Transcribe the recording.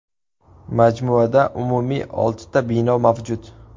Majmuada umumiy oltita bino mavjud.